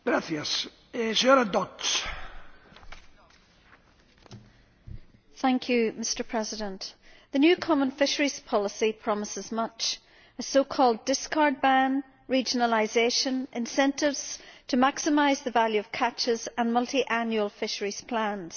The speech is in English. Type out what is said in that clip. Mr President, the new common fisheries policy promises much a so called discard ban, regionalisation, incentives to maximise the value of catches and multiannual fisheries plans.